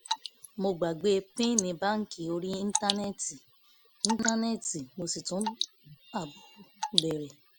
mo gbàgbé pin báńkì orí íńtánẹ́ẹ̀tì íńtánẹ́ẹ̀tì mo sì tún ààbò bẹ̀rẹ̀